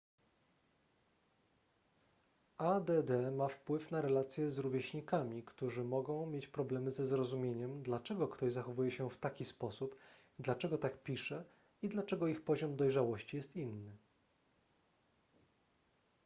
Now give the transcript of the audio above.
add ma wpływ na relacje z rówieśnikami którzy mogą mieć problemy ze zrozumieniem dlaczego ktoś zachowuje się w taki sposób dlaczego tak pisze i dlaczego ich poziom dojrzałości jest inny